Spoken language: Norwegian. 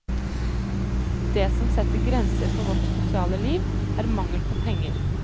Det som setter grenser for vårt sosiale liv, er mangel på penger.